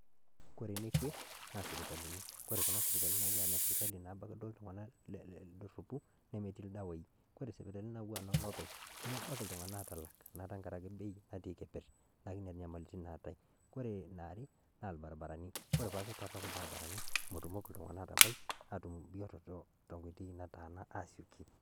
Ore ene Kwe naa sipitalini ore Kuna sipitalini naa ene sirkali naabak duo ake iltung'anak ledoropu nemetii ildawaii. Ore sipitalini naaku inoolopeng' nemebaki iltung'anak aatalak naa tengaraki Bei natii keperr, neeku Nena nyamalitin naatae, ore eniare naa ilbarabarani, ore paa ketorronok ilbarabarani metumoki iltung'anak aatabai atum bioto to tenkoitoi nataana aasioki.